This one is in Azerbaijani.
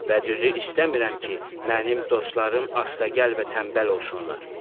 Və düzü istəmirəm ki, mənim dostlarım astağəl və tənbəl olsunlar.